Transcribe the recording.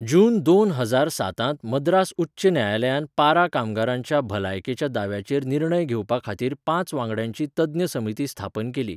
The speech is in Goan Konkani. जून दोन हजार सातांत मद्रास उच्च न्यायालयान पारा कामगारांच्या भलायकेच्या दाव्याचेर निर्णय घेवपा खातीर पांच वांगड्यांची तज्ञ समिती स्थापन केली.